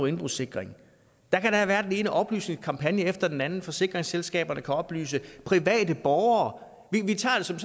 at indbrudssikre der kan da have været den ene oplysningskampagne efter den anden forsikringsselskaberne kan oplyse private borgere vi tager det som